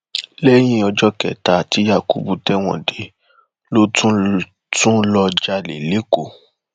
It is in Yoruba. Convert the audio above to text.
lẹyìn ọjọ kẹta tí yakubu tẹwọn dé ló tún lọọ jalè lẹkọọ